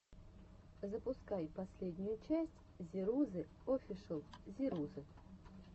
запускай последнюю часть зирузы офишл зирузы